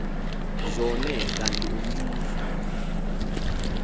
zone kanti umbuso